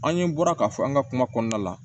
An ye bɔra ka fɔ an ka kuma kɔnɔna la